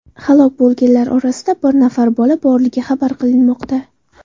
Halok bo‘lganlar orasida bir nafar bola borligi xabar qilinmoqda.